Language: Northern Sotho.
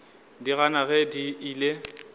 di gana ge di ile